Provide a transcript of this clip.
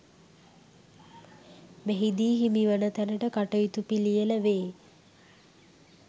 මෙහිදී හිමිවන තැනට කටයුතු පිළියෙල වේ.